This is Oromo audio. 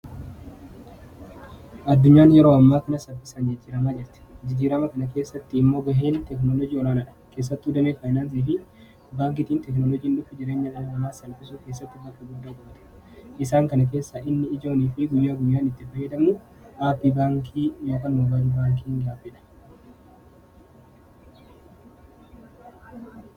addunyaan yeroo ammaakana sapisan jijjiiramaa jirte jijjiirama kana keessatti immoo ba'een tekinoolojii olaanaa dha keessatti udamee faainaansii fi baangitiin teeknoolojiin dhukki jireenya laallamaa salphisuu keessatti bake guddaa juute isaan kana keessaa inni ijoonii fi guyyaa gunyaan itti ba'eedamu aappii baankii ymbaal baankiiin gaafidha